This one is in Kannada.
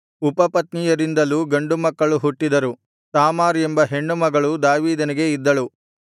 ಉಪಪತ್ನಿಯಾರಿಂದಲೂ ಗಂಡು ಮಕ್ಕಳು ಹುಟ್ಟಿದರು ತಾಮಾರ್ ಎಂಬ ಹೆಣ್ಣುಮಗಳೂ ದಾವೀದನಿಗೆ ಇದ್ದಳು